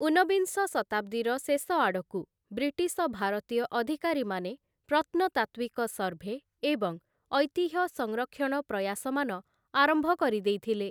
ଊନ୍ନବିଂଶ ଶତାବ୍ଦୀର ଶେଷ ଆଡ଼କୁ, ବ୍ରିଟିଶ ଭାରତୀୟ ଅଧିକାରୀମାନେ ପ୍ରତ୍ନତାତ୍ତ୍ଵିକ ସର୍ଭେ ଏବଂ ଐତିହ୍ୟ ସଂରକ୍ଷଣ ପ୍ରୟାସମାନ ଆରମ୍ଭ କରିଦେଇଥିଲେ ।